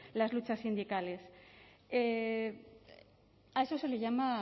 las luchas sindicales a eso se le llama